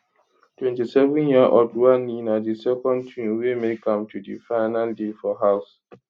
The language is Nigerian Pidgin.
27yearold wanni na di second twin wey make am to di final day for house